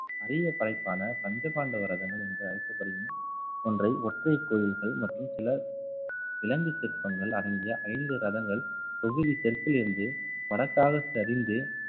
அரிய படைப்பான பஞ்ச பாண்டவரதங்கள் என்று அழைக்கப்படும் ஒன்றை ஒற்றை கோயில்கள் மற்றும் சில கிழங்கு சிற்பங்கள் அடங்கிய ஐந்து ரதங்கள் தொகுதி தெற்கிலிருந்து வடக்காக சரிந்து